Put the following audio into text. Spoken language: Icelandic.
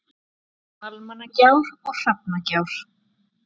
Almannagjár og Hrafnagjár.